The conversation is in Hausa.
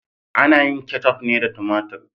Ana yin keccuf ne da tumatur.